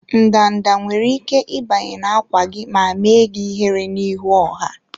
Ndanda nwere ike ịbanye na-ákwà gị ma mee gị ihere n'ihu ọha.